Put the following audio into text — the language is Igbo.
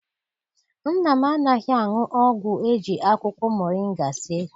Nna m anaghị aṅụ ọgwụ eji akwụkwọ moringa sie.